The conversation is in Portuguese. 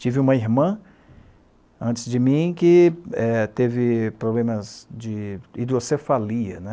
Tive uma irmã, antes de mim, que eh teve problemas de hidrocefalia, né?